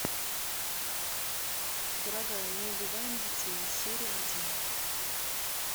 дорогая мы убиваем детей серия один